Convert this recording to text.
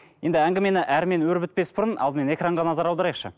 енді әңгімені әрмен өрбітпес бұрын алдымен экранға назар аударайықшы